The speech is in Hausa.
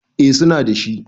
eh suna da shi